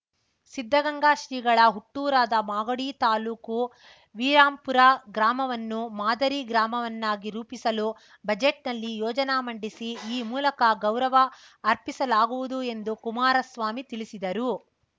ಸಿದ್ಧಗಂಗಾ ಶ್ರೀಗಳ ಹುಟ್ಟೂರಾದ ಮಾಗಡಿ ತಾಲೂಕು ವೀರಾಂಪುರ ಗ್ರಾಮವನ್ನು ಮಾದರಿ ಗ್ರಾಮವನ್ನಾಗಿ ರೂಪಿಸಲು ಬಜೆಟ್‌ನಲ್ಲಿ ಯೋಜನ ಮಂಡಿಸಿ ಈ ಮೂಲಕ ಗೌರವ ಅರ್ಪಿಸಲಾಗುವುದು ಎಂದು ಕುಮಾರಸ್ವಾಮಿ ತಿಳಿಸಿದರು